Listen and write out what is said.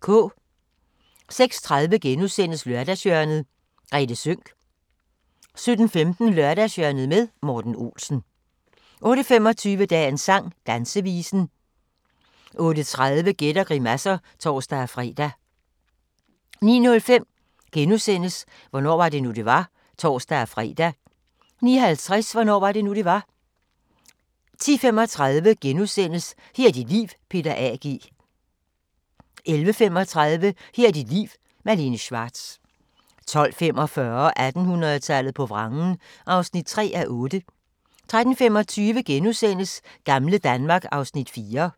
06:30: Lørdagshjørnet - Grethe Sønck * 07:15: Lørdagshjørnet med Morten Olsen 08:25: Dagens sang: Dansevisen 08:30: Gæt og grimasser (tor-fre) 09:05: Hvornår var det nu, det var? *(tor-fre) 09:50: Hvornår var det nu, det var? 10:35: Her er dit liv – Peter A. G. * 11:35: Her er dit liv – Malene Schwartz 12:45: 1800-tallet på vrangen (3:8) 13:25: Gamle Danmark (Afs. 4)*